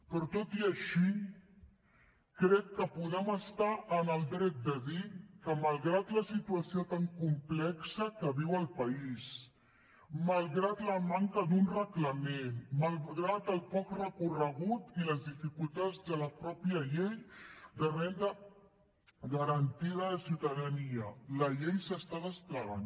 però tot i així crec que podem estar en el dret de dir que malgrat la situació tan complexa que viu el país malgrat la manca d’un reglament malgrat el poc recorregut i les dificultats de la mateixa llei de renda garantida de ciutadania la llei s’està desplegant